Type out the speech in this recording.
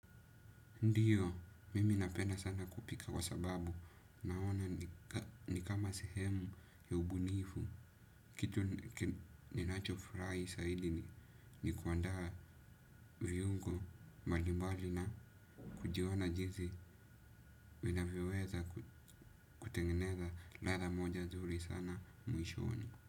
Ndio, mimi napenda sana kupika kwa sababu, naona ni kama sehemu ya ubunifu. Kitu ninacho furahi saidi ni kuandaa viungo. Mbalimbali na, kujiona jinsi, vinavyoweza kutengeneza ladha moja zuri sana, muishoni.